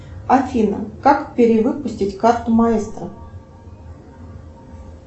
афина как перевыпустить карту маэстро